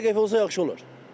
Sadə 50 qəpik olsa yaxşı olar.